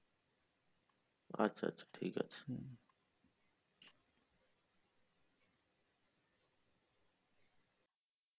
আচ্ছা আচ্ছা ঠিক আছে।